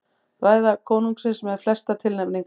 Ræða konungsins með flestar tilnefningar